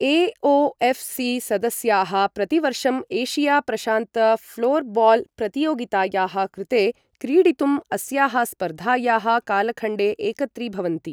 AOFC. सदस्याः प्रतिवर्षम् Asia प्रशान्त फ्लोरबॉल प्रतियोगितायाः कृते क्रीडितुम् अस्याः स्पर्धायाः कालखण्डे एकत्रीभवन्ति ।